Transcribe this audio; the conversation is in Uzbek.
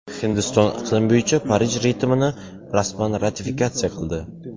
Hindiston iqlim bo‘yicha Parij bitimini rasman ratifikatsiya qildi.